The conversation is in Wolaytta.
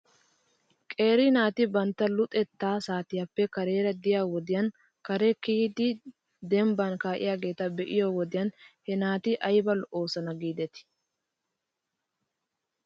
Qeeri naati bantta luxetta saatiyaappe kareera de'iyaa wodiyan kare kiyidi dembban kaa'iyaageeta be'iyoo wodiyan he naati ayba lo'oosona giidetii .